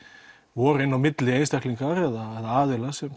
voru inn á milli einstaklingar eða aðilar sem